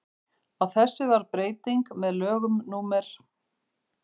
á þessu varð breyting með lögum númer